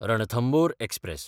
Ranthambore express